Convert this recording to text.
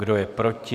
Kdo je proti?